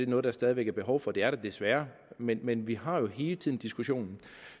noget der stadig væk er behov for det er der desværre men men vi har jo hele tiden diskussionen